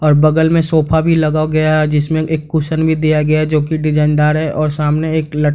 और बगल में सोफा भी लगाव गया है जिसमे एक कुशन भी दिया गया है जो की डिजाइन दार है और सामने एक लट --